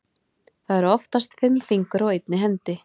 Það eru oftast fimm fingur á einni hendi.